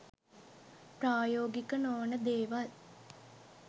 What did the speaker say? ප්‍රායෝගික නොවන දේවල්